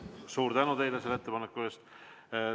Suur tänu teile selle ettepaneku eest!